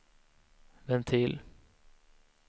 ventil